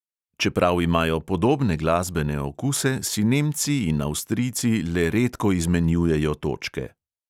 Čeprav imajo podobne glasbene okuse, si nemci in avstrijci le redko izmenjujejo točke.